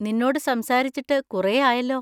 നിന്നോട് സംസാരിച്ചിട്ട് കുറേ ആയല്ലോ.